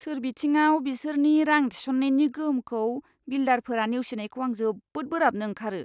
सोरबिथिंआव बिसोरनि रां थिसननायनि गोहोमखौ बिल्डारफोरा नेवसिनायखौ आं जोबोद बोराबनो ओंखारो।